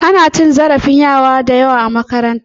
Ana cin zarafin yara da yawa a makaranta.